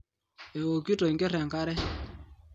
Eeokito Enker Enkare